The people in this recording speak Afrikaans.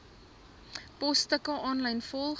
posstukke aanlyn volg